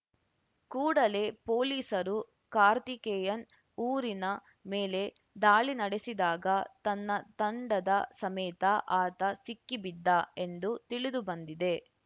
ಕೂಡಲೇ ಪೊಲೀಸರು ಕಾರ್ತಿಕೇಯನ್‌ ಊರಿನ ಮೇಲೆ ದಾಳಿ ನಡೆಸಿದಾಗ ತನ್ನ ತಂಡದ ಸಮೇತ ಆತ ಸಿಕ್ಕಿಬಿದ್ದ ಎಂದು ತಿಳಿದು ಬಂದಿದೆ